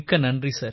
நன்றி சார்